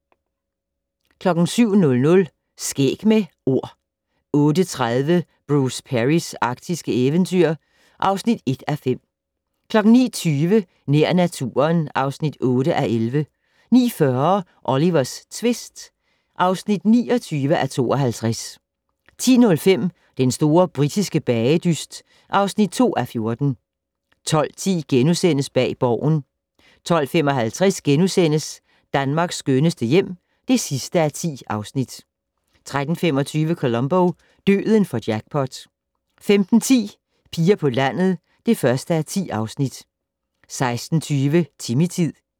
07:00: Skæg med Ord 08:30: Bruce Perrys arktiske eventyr (1:5) 09:20: Nær naturen (8:11) 09:40: Olivers tvist (29:52) 10:05: Den store britiske bagedyst (2:14) 12:10: Bag Borgen * 12:55: Danmarks skønneste hjem (10:10)* 13:25: Columbo: Døden får jackpot 15:10: Piger på landet (1:10) 16:20: Timmy-tid